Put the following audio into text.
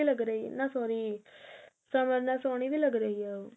ਲੱਗ ਰਹੀ ਹਿਆ ਨਾ sorry ਸਮਰ ਨਾਲ ਸੋਹਣੀ ਵੀ ਲੱਗ ਰਹੀ ਹੈ ਉਹ